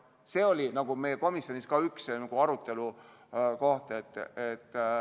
See oli komisjonis üks arutelukohti.